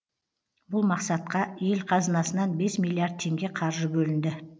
бұл мақсатқа ел қазынасынан бес миллиард теңге қаржы бөлінді